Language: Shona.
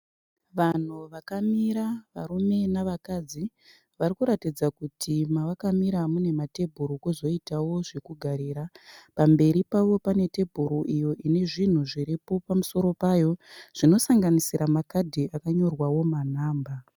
Vanhu vakamira varume navakadzi. Vari kuratidza kuti mavakamira mune matebhuru kwozoitawo zvekugarira. Pamberi pavo pane tebhuru iyo ine zvinhu zviripo pamusoro payo zvinosanganisira makadhi akanyorwawo manhamba.